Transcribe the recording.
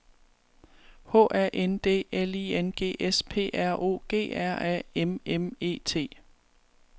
H A N D L I N G S P R O G R A M M E T